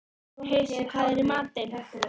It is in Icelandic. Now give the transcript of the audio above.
Heisi, hvað er í matinn?